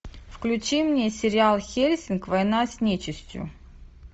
включи мне сериал хеллсинг война с нечистью